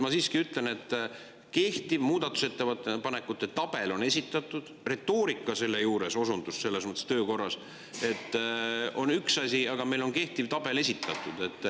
Ma siiski ütlen, et kehtiv muudatusettepanekute tabel on esitatud, retoorika selle juures, selles mõttes osundus töökorrale on üks asi, aga meile on kehtiv tabel esitatud.